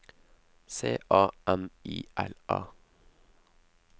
C A M I L A